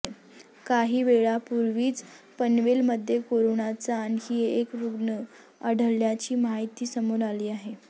काहीवेळापूर्वीच पनवेलमध्ये कोरोनाचा आणखी एक रुग्ण आढळल्याची माहिती समोर आली आहे